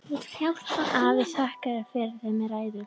Afi þakkaði fyrir þau með ræðu.